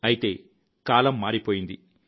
అయితే కాలం మారిపోయింది